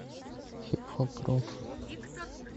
хип хоп рок